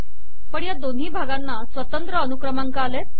पण या दोन्ही भागांना स्वतंत्र अनुक्रमांक आले